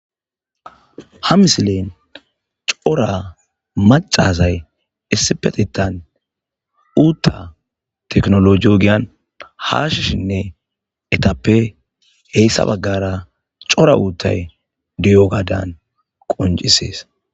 Ha misilen cora macazay issipetetan uutta teknolo yogiyan haashishinne etappe heyssa baggara cora uuttay diyo gadan qoncisees.